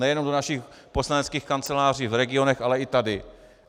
Nejenom do našich poslaneckých kanceláří v regionech, ale i tady.